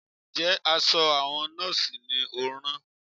Ǹjẹ́ aṣọ àwọn Nọ́ọ̀sì ni ò ń rán?